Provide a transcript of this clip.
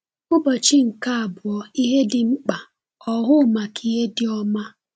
Ụbọchị nke Abụọ – Ihe Dị Mkpa: Ọhụụ Maka Ihe Dị Ọma